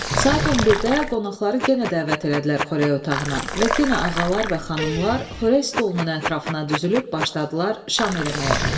Saat 11-də qonaqları genə dəvət elədilər xörək otağına və genə ağalar və xanımlar xörək stolunun ətrafına düzülüb başladılar şam eləməyə.